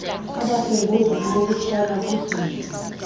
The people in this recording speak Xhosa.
abasengozini yokutshona kudidi